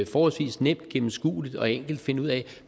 forholdsvis nemt gennemskueligt og enkelt at finde ud af